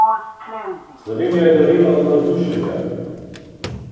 Slovenija je norela od navdušenja!